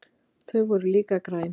Þau voru líka græn.